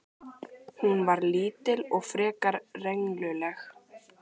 Hún var lítil og frekar rengluleg.